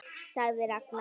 sagði Ragnar.